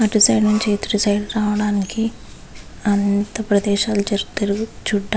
అట్టు సైడ్ నుంచి ఇట్టు సైడ్ రావడానికి అంత ప్రదేశాలు తీరు చూడ --